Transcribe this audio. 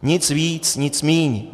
Nic víc, nic míň.